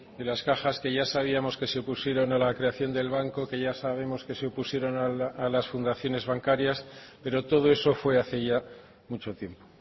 de las cajas que ya sabíamos que se opusieron a la creación del banco que ya sabemos que se opusieron a las fundaciones bancarias pero todo eso fue hace ya mucho tiempo